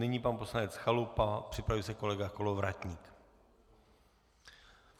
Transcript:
Nyní pan poslanec Chalupa, připraví se kolega Kolovratník.